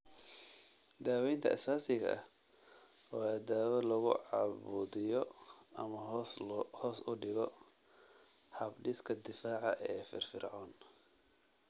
Daawaynta aasaasiga ah waa dawo lagu cabudhiyo, ama hoos u dhigo, habdhiska difaaca oo firfircoon.